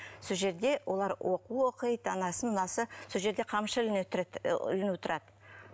сол жерде олар оқу оқиды анасы мынасы сол жерде қамшы ілулі тұрады